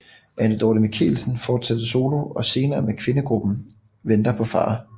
Anne Dorte Michelsen fortsatte solo og senere med kvindegruppen Venter på far